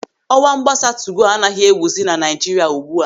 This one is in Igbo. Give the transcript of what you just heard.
Ọwa mgbasa tugo anaghị ewuzi na Naịjiria ugbu a.